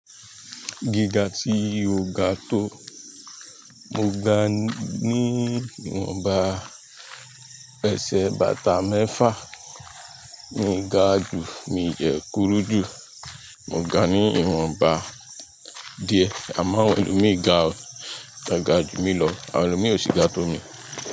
Gíga tí ó ga tó, mo gaa ní ìwọ̀nba ẹsẹ̀ bàtà mẹ́fa. Mo ga ju, mi de kúrú jù. Mo gbá ní ìwọ̀nba díẹ̀. Àmo ẹlòmíì ga o, tó ga ju mi lọ. Àwọn ẹlòmíì ò sì ga tó mi.